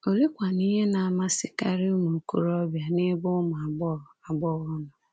Oleekwanụ ihe na-amasịkarị ụmụ okorobịa n’ebe ụmụ agbọghọ agbọghọ nọ?